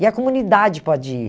E a comunidade pode ir.